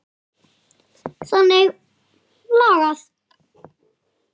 Þannig lagað.